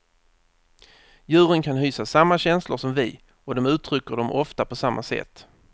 Djuren kan hysa samma känslor som vi och de uttrycker dem ofta på samma sätt.